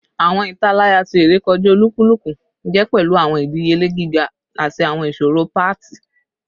Awọn italaya ti irekọja olukuluku jẹ pẹlu awọn idiyele giga ati awọn iṣoro paati